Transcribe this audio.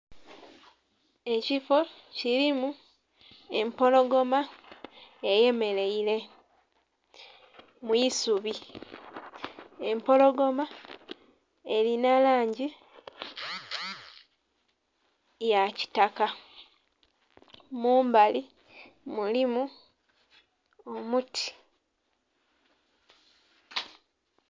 Ekiffo kilimu empologoma eyemeleire mu isubi, empologoma elinha langi ya kitaka, mumbali mulimu omuti.